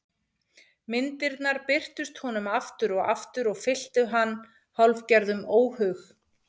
Myndirnar birtust honum aftur og aftur og fylltu hann hálfgerðum óhug.